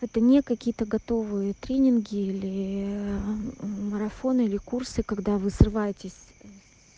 это не какие-то готовые тренинги или марафон или курсы когда вы срываетесь с